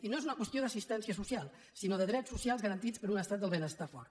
i no és una qüestió d’assistència social sinó de drets socials garantits per un estat del benestar fort